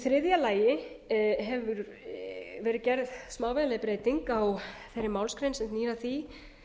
þriðja gerð hefur verið smávægileg breyting á þeirri málsgrein sem snýr að því